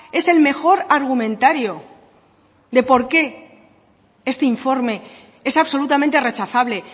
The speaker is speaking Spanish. es el mejor argumentario de por qué este informe es absolutamente rechazable